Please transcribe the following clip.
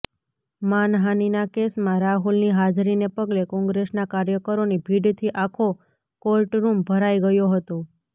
માનહાનિના કેસમાં રાહુલની હાજરીને પગલે કોંગ્રેસના કાર્યકરોની ભીડથી આખો કોર્ટરૂમ ભરાઈ ગયો હતો